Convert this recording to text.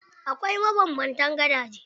Akwai mabanbanta gadaje.